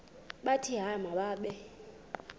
bathi hayi mababe